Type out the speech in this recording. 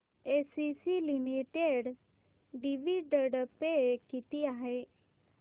ACC limited dividend pay किती आहे